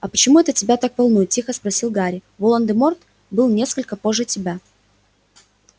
а почему это тебя так волнует тихо спросил гарри волан де морт был несколько позже тебя